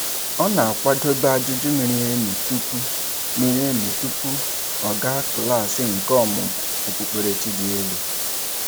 Ọ na-akwadobe ajụjụ miri emi tụpụ miri emi tụpụ ọ gaa klaasị nke ọmúmú okpukperechi dị elu.